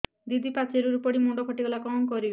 ଦିଦି ପାଚେରୀରୁ ପଡି ମୁଣ୍ଡ ଫାଟିଗଲା କଣ କରିବି